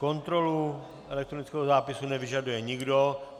Kontrolu elektronického zápisu nevyžaduje nikdo.